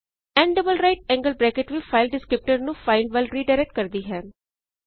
n double right angled bracket ਵੀ file descriptor ਨੂੰ ਇਕ ਫਾਈਲ ਵੱਲ ਰੀਡਾਇਰੈਕਟ ਕਰਦੀ ਹੈ